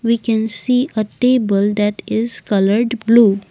we can see a table that is coloured blue.